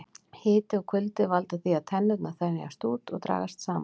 Hiti og kuldi valda því að tennurnar þenjast út og dragast saman.